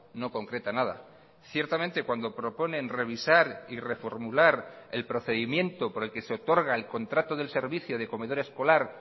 no concreta nada ciertamente cuando proponen revisar y reformular el procedimiento por el que se otorga el contrato del servicio de comedor escolar